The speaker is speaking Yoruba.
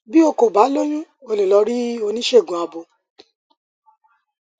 bí o kò bá lóyún o lè lọ rí oníṣègùn abo